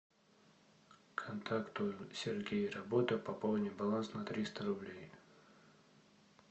контакту сергей работа пополни баланс на триста рублей